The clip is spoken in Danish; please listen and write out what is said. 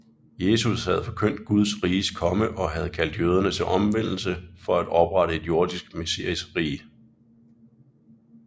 Jesus havde forkyndt Guds riges komme og havde kaldt jøderne til omvendelse for at oprette et jordisk messiasrige